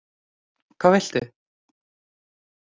Hvað viltu?